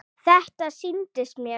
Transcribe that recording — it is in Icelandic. Þetta sýndist mér!